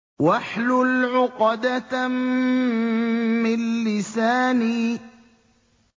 وَاحْلُلْ عُقْدَةً مِّن لِّسَانِي